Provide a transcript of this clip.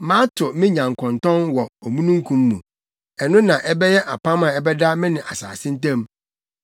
Mato me nyankontɔn wɔ omununkum mu. Ɛno na ɛbɛyɛ apam a ɛbɛda me ne asase ntam.